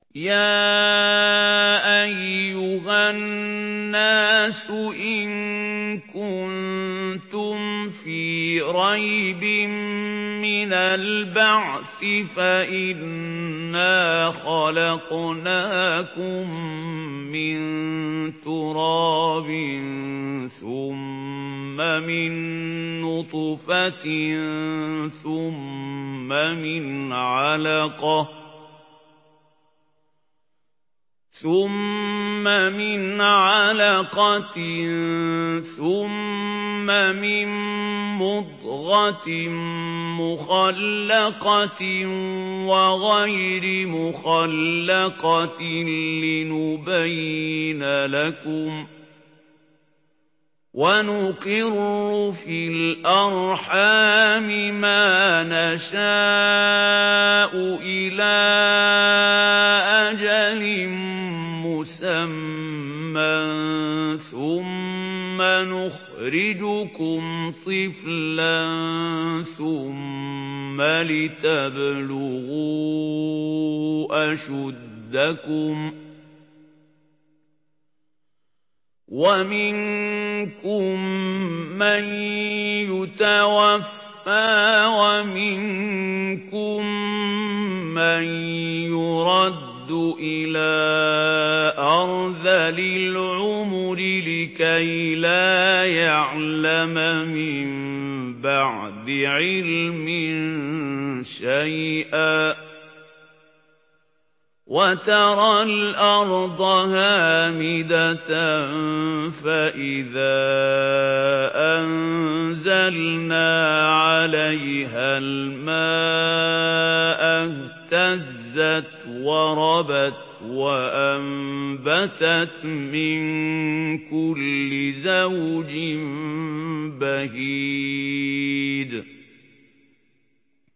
يَا أَيُّهَا النَّاسُ إِن كُنتُمْ فِي رَيْبٍ مِّنَ الْبَعْثِ فَإِنَّا خَلَقْنَاكُم مِّن تُرَابٍ ثُمَّ مِن نُّطْفَةٍ ثُمَّ مِنْ عَلَقَةٍ ثُمَّ مِن مُّضْغَةٍ مُّخَلَّقَةٍ وَغَيْرِ مُخَلَّقَةٍ لِّنُبَيِّنَ لَكُمْ ۚ وَنُقِرُّ فِي الْأَرْحَامِ مَا نَشَاءُ إِلَىٰ أَجَلٍ مُّسَمًّى ثُمَّ نُخْرِجُكُمْ طِفْلًا ثُمَّ لِتَبْلُغُوا أَشُدَّكُمْ ۖ وَمِنكُم مَّن يُتَوَفَّىٰ وَمِنكُم مَّن يُرَدُّ إِلَىٰ أَرْذَلِ الْعُمُرِ لِكَيْلَا يَعْلَمَ مِن بَعْدِ عِلْمٍ شَيْئًا ۚ وَتَرَى الْأَرْضَ هَامِدَةً فَإِذَا أَنزَلْنَا عَلَيْهَا الْمَاءَ اهْتَزَّتْ وَرَبَتْ وَأَنبَتَتْ مِن كُلِّ زَوْجٍ بَهِيجٍ